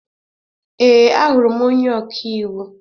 Ee, ahụrụ m onye ọka iwu.